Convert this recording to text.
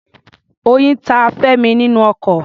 Oyin ta Femi nínú oko.